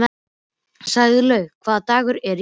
Snælaugur, hvaða dagur er í dag?